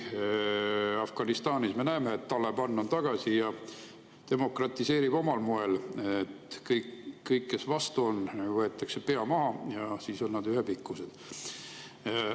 Afganistanis me näeme, et Taliban on tagasi ja demokratiseerib omal moel: kõigil, kes vastu on, võetakse pea maha ja siis on nad ühepikkused.